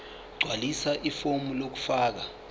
gqwalisa ifomu lokufaka